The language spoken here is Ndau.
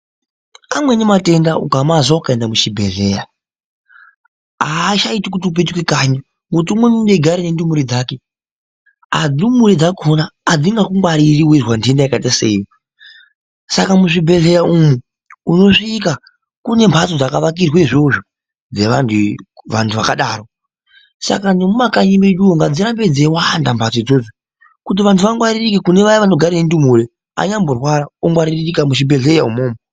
Amweni matenda ukamazwa ukaenda muchibhedhlera achaiti kuti upetuke kanyi ngoti umweni une eigare ndumure dzake, ndumure dzakona adzingakungwariri weizwa ndenda yakaita seiyo saka muzvibhedhlera umu unosvika kunemhatso dzakaakirwe izvozvo dzevantu vantu vakadaro saka nemumakanyi medu umu ngadzirambe dzeiwanda mhatso idzodzo kuti vantu vangwaririke kunevaya vanogara nendumure anyamborwara ongwaririka muchibhedhlera imomo.